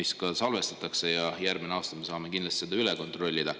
See salvestatakse ja järgmisel aastal me saame üle kontrollida.